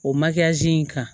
O in kan